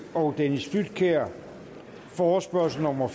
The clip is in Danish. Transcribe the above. og dennis flydtkjær forespørgsel nummer